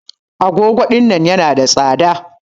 Agogo ɗinnan yana da tsada.